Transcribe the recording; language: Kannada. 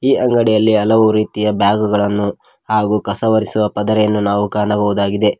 ಈ ಅಂಗಡಿಯಲ್ಲಿ ಹಲವು ರೀತಿಯ ಬ್ಯಾಗುಗಳನ್ನು ಹಾಗೂ ಕಸವರಿಸುವ ಪದರೆಯನ್ನು ನಾವು ಕಾಣಬಹುದಾಗಿದೆ.